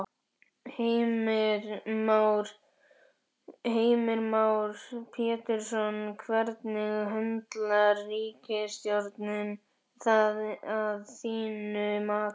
Heimir Már Pétursson: Hvernig höndlar ríkisstjórnin það að þínu mati?